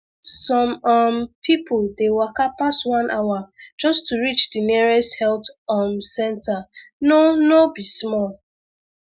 some um people dey waka pass one hour just to reach the nearest health um center no no be small